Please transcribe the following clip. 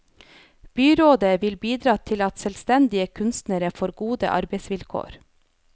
Byrådet vil bidra til at selvstendige kunstnere får gode arbeidsvilkår.